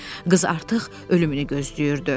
Qız artıq ölümünü gözləyirdi.